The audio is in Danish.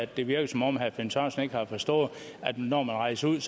det virker som om herre finn sørensen ikke har forstået at når man rejser ud